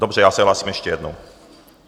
Dobře, já se hlásím ještě jednou.